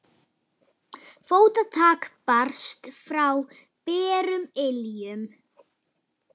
Fótatak barst frá berum iljum.